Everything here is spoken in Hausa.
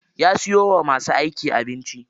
Ya siyo wa masu aiki abinci.